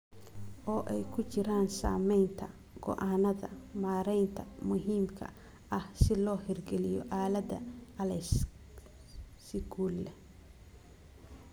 Oo ay ku jiraan samaynta go'aannada maaraynta muhiimka ah si loo hirgeliyo aaladda ALEKS si guul leh.